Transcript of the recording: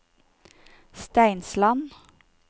Steinsland